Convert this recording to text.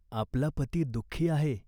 आपला पती दुखी आहे.